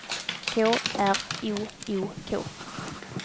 K R O O K